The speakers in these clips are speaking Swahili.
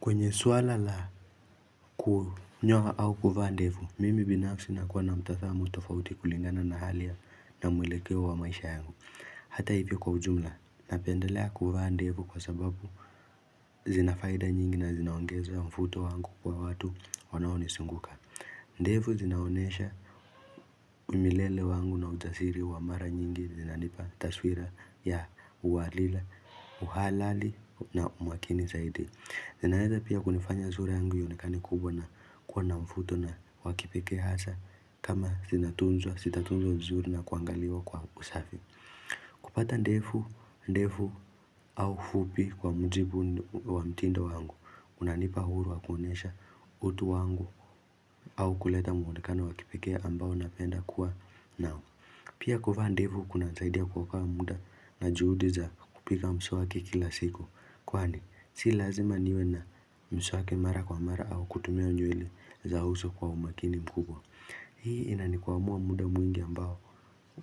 Kwenye swala la kunyoa au kuvaa ndevu, mimi binafsi nakuwa na mtazamo tofauti kulingana na hali ya, na mwelekeo wa maisha yangu. Hata hivyo kwa ujumla, napendelea kuvaa ndevu kwa sababu zinafaida nyingi na zinaongeza mvuto wangu kwa watu wanaonizunguka. Ndevu zinaonesha umilele wangu na ujasiri wa mara nyingi zinanipa taswira ya uwalila, uhalali na umakini zaidi. Zinaeza pia kunifanya sura yangu ionekane kubwa na kuwa na mfuto na wakipeke hasa kama sinatunzwa, sitatunzwa vizuri na kuangaliwa kwa usafi. Kupata ndefu, ndefu au fupi kwa mujibu wa mtindo wangu, unanipa huru wa kuonyesha utu wangu au kuleta mwonekano wa kipeke ambao napenda kuwa nao. Pia kuvaa ndevu kuna saidia kuokoa muda na juhudi za kupiga mswaki kila siku. Kwani, si lazima niwe na mswaki mara kwa mara au kutumia nywele za uso kwa umakini mkubwa. Hii ina nikuwa mua muda mwingi ambao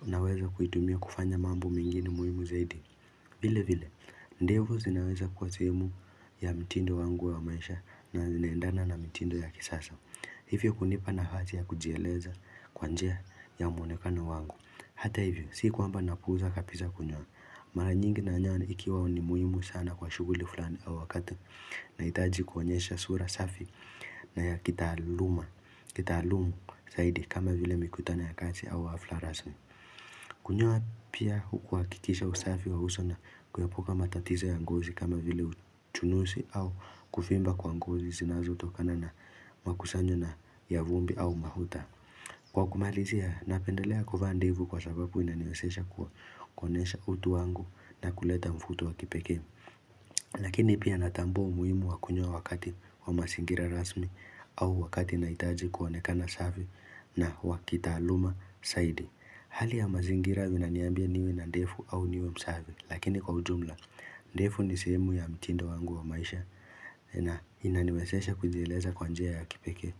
naweza kuitumia kufanya mambo mingine muhimu zaidi. Vile vile, ndevu zinaweza kuwa sehemu ya mtindo wangu wa maisha na zinaendana na mitindo ya kisasa. Hivyo hunipa nafasi ya kujieleza kwa njia ya mwonekano wangu Hata hivyo, si kwamba napuuza kapiza kunyoa Mara nyingi na nyoa ikiwa ni muhimu sana kwa shuguli fulani au wakati Naitaji kuonyesha sura safi na ya kitaaluma Kitalumu zaidi kama vile mikutano ya kazi au hafla rasmi Kunyoa pia hukuwakikisha usafi wa uso na kuupuka matatizo ya ngozi kama vile chunusi au kufimba kwa ngozi zinazo tokana na makusanyo na ya vumbi au mafuta. Kwa kumalizia, napendelea kuvaa ndevu kwa sababu inaniwesesha kwa kuonesha utu wangu na kuleta mfuto wa kipeke. Lakini pia natambua umuhimu wa kunyoa wakati wa masingira rasmi au wakati naitaji kuonekana safi na wa kitaaluma saidi. Hali ya mazingira zinaniambia niwe na ndefu au niwe msafi. Lakini kwa ujumla, ndefu ni sehemu ya mtindo wangu wa maisha. Na inaniwesesha kujieleza kwa njia ya kipeke.